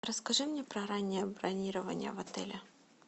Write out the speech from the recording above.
расскажи мне про раннее бронирование в отеле